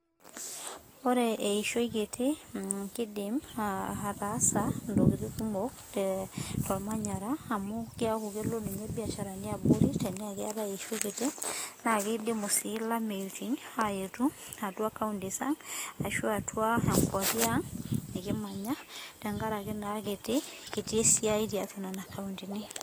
ore eishoi kiti naa etaasa intokitin kumok oleng tebiaahara tenkaraki keetae eishoi kiti ilameitinamu kikiti naa esiaitrnena koontini.